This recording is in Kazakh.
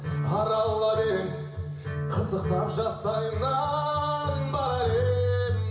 аралар ем қызықтап жастайымнан барар ем